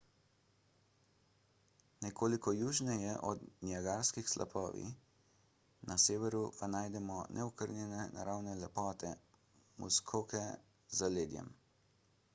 nekoliko južneje so niagarski slapovi na severu pa najdemo neokrnjene naravne lepote muskoke z zaledjem